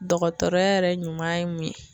Dɔgɔtɔrɔya yɛrɛ ɲuman ye mun ye ?